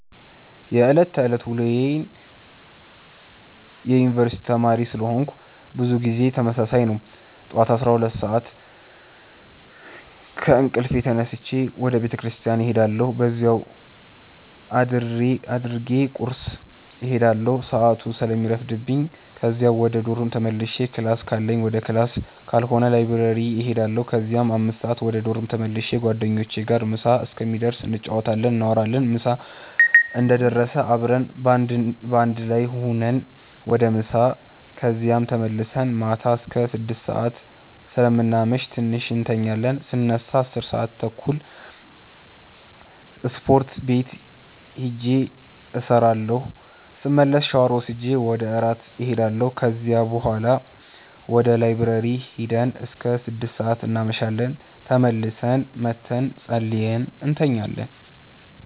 የዕለት ተዕለት ውሎዬ የዩነኒቨርስቲ ተማሪ ስለሆነኩ ብዙ ጊዜ ተመሳሳይ ነው። ጠዋት 12:00 ሰአት ከእንቅልፌ ተነስቼ ወደ ቤተክርስቲያን እሄዳለሁ በዚያው አድርጌ ቁርስ እሄዳለሁ ሰአቱ ስለሚረፍድብኝ ከዚያ ወደ ዶርም ተመልሼ ክላስ ካለኝ ወደ ክላስ ካልሆነ ላይብረሪ እሄዳለሁ ከዚያ 5:00 ወደ ዶርም ተመልሼ ጓደኞቼ ጋር ምሳ እስከሚደርስ እንጫወታለን፣ እናወራለን ምሳ እንደደረሰ አብረን በአንድ ላይ ሁነን ወደ ምሳ ከዚያም ተመልሰን ማታ አስከ 6:00 ሰአት ስለምናመሽ ትንሽ እንተኛለን ስነሳ 10:30 ስፖርት ቤት ሂጄ እሰራለሁ ስመለስ ሻወር ወስጄ ወደ እራት እሄዳለሁ ከዚያ ቡሀላ ወደ ላይብረሪ ሂደን እስከ 6:00 እናመሻለን ተመልሰን መተን ፀልየን እንተኛለን።